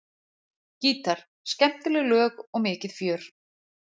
Gítar, skemmtileg lög og mikið fjör.